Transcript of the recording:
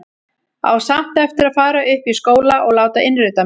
Á samt eftir að fara upp í skóla og láta innrita mig.